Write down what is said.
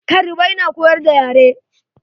Karibai na koyar da yare.